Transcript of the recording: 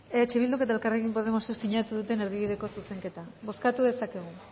eh bilduk eta elkarrekin podemosek sinatu duten erdibideko zuzenketa bozkatu dezakegu